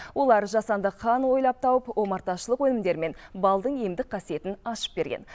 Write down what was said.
олар жасанды қан ойлап тауып омарташылық өнімдері мен балдың емдік қасиетін ашып берген